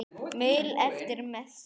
Maul eftir messu.